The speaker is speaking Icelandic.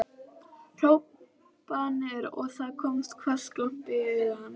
hrópanir og það kom hvass glampi í augu hans.